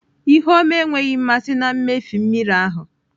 Ihu ọma enweghị mmasị na mmịfe mmiri ahụ.